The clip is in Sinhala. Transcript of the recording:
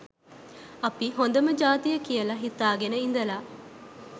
අපි හොඳම ජාතිය කියලා හිතාගෙන ඉඳලා